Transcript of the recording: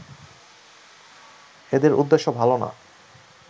এদের উদ্দেশ্য ভালো না